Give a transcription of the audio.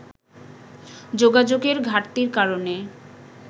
যোগাযোগের ঘাটতির কারণে